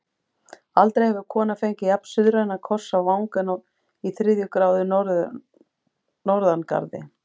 Aldrei hefur kona fengið jafn-suðrænan koss á vangann í þriðju gráðu norðangarði.